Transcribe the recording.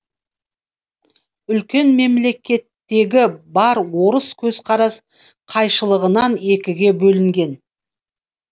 үлкен мемлекеттегі бар орыс көзқарас қайшылығынан екіге бөлінген